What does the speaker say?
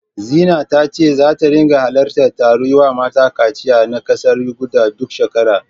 Zina ta ce zata ringa halartar taron yiwa mata kaciya na ƙasar Yuganda, duk shekara.